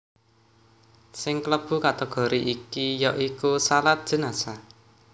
Sing klebu kategori iki ya iku shalat jenazah